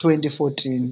2014.